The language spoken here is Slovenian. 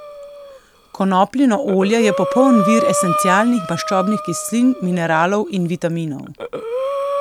Konopljino olje je popoln vir esencialnih maščobnih kislin, mineralov in vitaminov.